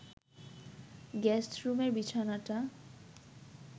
গেস্টরুমের বিছানাটা